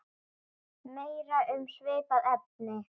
Meira um svipað efni